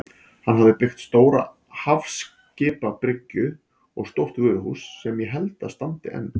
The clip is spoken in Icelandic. Hann hafði byggt stóra hafskipabryggju og stórt vöruhús sem ég held að standi enn.